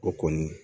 O kɔni